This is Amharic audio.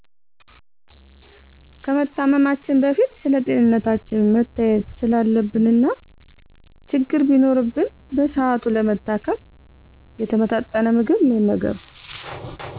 ከመታመማችን በፊት ስለጤንነታችን መታየት ስላለብን እና ችግር ቢኖርብን በስሃቱ ለመታከም። የተመጣጠነ ምግብ መመገብ